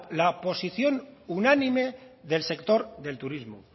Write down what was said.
la posición unánime del sector del turismo